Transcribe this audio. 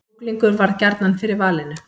Kjúklingur varð gjarnan fyrir valinu